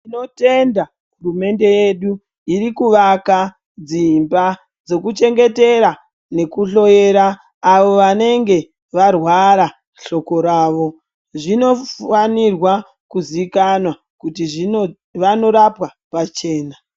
Tinotenda hurumende yedu irikuvaka dzimba dzokuchengetera nekuhloyera avo vanenge varwara hloko ravo. Zvinofanirwa kuzikanwa kuti zvino vanorapwa pachena